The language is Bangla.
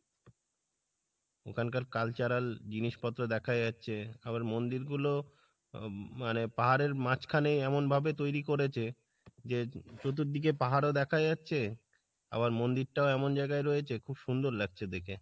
ওখানকার cultural জিনিস পত্র দেখা যাচ্ছে আবার মন্দির গুলো আহ মানে পাহাড়ের মাঝখানে এমন ভাবে তৈরী করেছে যে চতুর্দিকে পাহাড় ও দেখা যাচ্ছে আবার মন্দির টাও এমন জায়গাই রয়েছে খুব সুন্দর লাগছে দেখে।